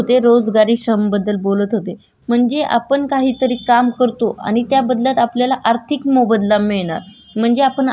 म्हणजे आपण आठ तास काम. केलं त्याचा जर आपल्याला दोन हजार रुपये दर भेटत असेल तर हा रोजगारीचा पाठ झाला